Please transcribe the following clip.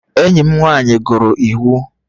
Enyi m nwanyị gụrụ iwu